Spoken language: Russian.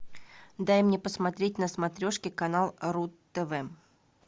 дай мне посмотреть на смотрешке канал ру тв